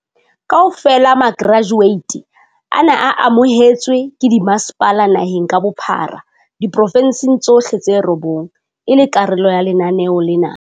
Kaofela makerajueti ana a amohetswe ke dimasepala naheng ka bophara diporofensing tsohle tse robong e le karolo ya lenaneo lena.